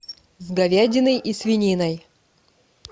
с говядиной и свининой